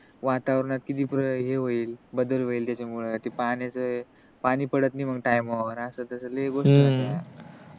वातावरणात किती हे होईल बदल होईल त्याच्यामुळे ते पाण्याच पाणी पडत नाही टाइमा वर अस तस लइ गोष्टी आहेत यार